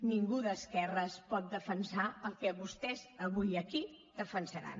ningú d’esquerres pot defensar el que vostès avui aquí defensaran